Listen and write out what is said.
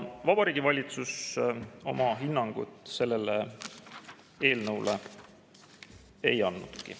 Vabariigi Valitsus oma hinnangut sellele eelnõule ei andnudki.